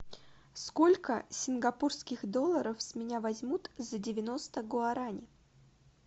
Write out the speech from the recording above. сколько сингапурских долларов с меня возьмут за девяносто гуарани